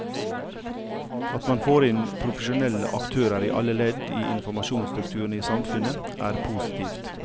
At man får inn profesjonelle aktører i alle ledd i informasjonsstrukturene i samfunnet er positivt.